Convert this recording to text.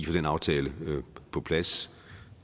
få den aftale på plads